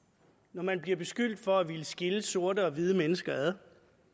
når man bliver beskyldt for at ville skille sorte og hvide mennesker ad